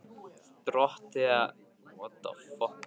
Dorothea, hvenær kemur tvisturinn?